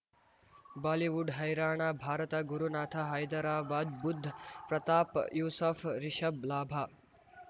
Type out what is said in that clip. Bollywood ಹೈರಾಣ ಭಾರತ ಗುರುನಾಥ ಹೈದರಾಬಾದ್ ಬುಧ್ ಪ್ರತಾಪ್ ಯೂಸಫ್ ರಿಷಬ್ ಲಾಭ